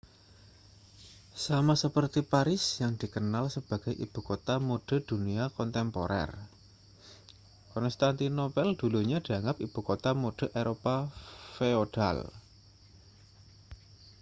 sama seperti paris yang dikenal sebagai ibu kota mode dunia kontemporer konstantinopel dulunya dianggap ibu kota mode eropa feodal